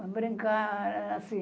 Para brincar, assim.